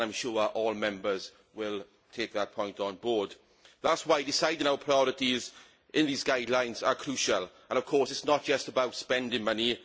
I am sure all Members will take that point on board. That is why deciding our priorities in these guidelines is crucial and, of course, it is not just about spending money.